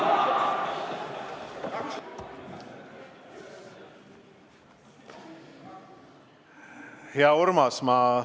Hea Urmas!